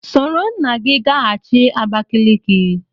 Soro nna gị gaghachi Abakaliki!